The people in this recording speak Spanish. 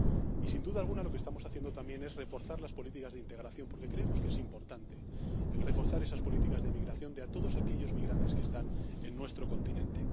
Y, sin duda alguna, lo que estamos haciendo también es reforzar las políticas de integración, porque creemos que es importante reforzar esas políticas de migración para todos aquellos migrantes que están en nuestro continente.